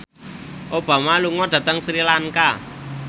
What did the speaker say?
Obama lunga dhateng Sri Lanka